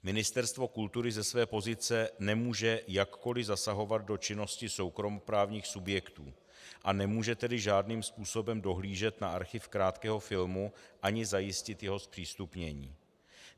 Ministerstvo kultury ze své pozice nemůže jakkoli zasahovat do činnosti soukromoprávních subjektů, a nemůže tedy žádným způsobem dohlížet na archiv Krátkého filmu ani zajistit jeho zpřístupnění.